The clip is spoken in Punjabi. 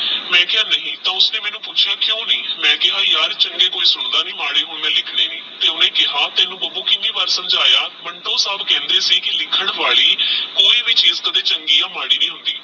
ਮੈ ਕੇਹਾ ਨਹੀ ਤੇਹ ਉਸਨੇ ਮੈਨੂ ਪੁਚ੍ਯਾ ਕੁ ਨਹੀ ਮੈ ਕੇਹਾ ਯਾਰ ਚੰਗੇ ਕੋਈ ਸੁਣਦਾ ਨਹੀ ਮਾੜੇ ਹੁਣ ਮੈ ਲਿਖਣੇ ਨਹੀ ਓਹ੍ਨ੍ਦੇ ਕੇਹਾ ਤੈਨੂ ਬੱਬੂ ਕੀਨੀ ਵਾਰ ਸਮਝਾਯਾ ਮੰਤੁਰ ਸਿਰ ਕੇਹੇਂਦੇ ਸੀ ਕੋਈ ਵੀ ਚੀਜ਼ ਲਿਖਣ ਵਾਲੀ ਚੰਗੀ ਯਾ ਮਾੜੀ ਨਹੀ ਹੋਂਦੀ